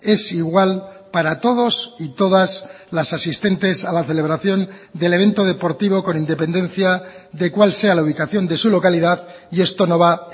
es igual para todos y todas las asistentes a la celebración del evento deportivo con independencia de cuál sea la ubicación de su localidad y esto no va